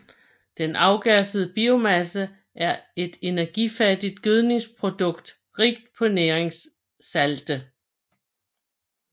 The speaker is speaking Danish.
Den afgassede biomasse er et energifattigt gødningsprodukt rigt på næringssalte